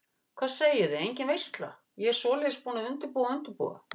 Hvað segiði, engin veisla, ég svoleiðis búin að undirbúa og undirbúa.